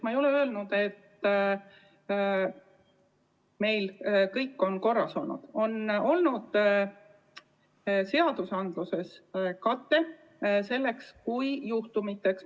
Ma ei ole öelnud, et meil on kõik korras, küll aga on seadustes olemas olnud kate sellisteks juhtumiteks.